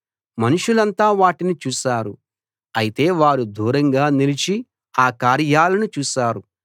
మనుష్యులంతా వాటిని చూశారు అయితే వారు దూరంగా నిలిచి ఆ కార్యాలను చూశారు